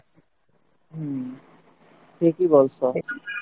হম ঠিকই বলছ